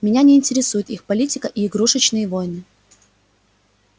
меня не интересует их политика и игрушечные войны